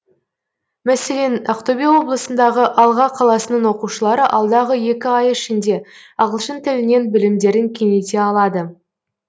мәселен ақтөбе облысындағы алға қаласының оқушылары алдағы екі ай ішінде ағылшын тілінен білімдерін кеңейте алады